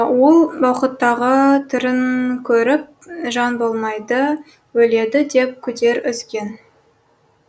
ол уақыттағы түрін көріп жан болмайды өледі деп күдер үзген